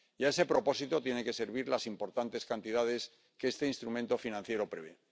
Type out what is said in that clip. Y a ese propósito tienen que servir las importantes cantidades que este instrumento financiero prevé.